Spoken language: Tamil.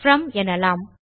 ப்ரோம் எனலாம்